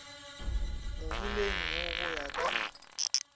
moholeng wo go ya ka